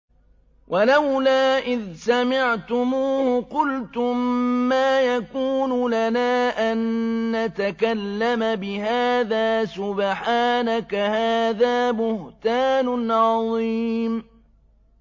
وَلَوْلَا إِذْ سَمِعْتُمُوهُ قُلْتُم مَّا يَكُونُ لَنَا أَن نَّتَكَلَّمَ بِهَٰذَا سُبْحَانَكَ هَٰذَا بُهْتَانٌ عَظِيمٌ